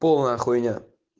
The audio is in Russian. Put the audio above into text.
полная хуйня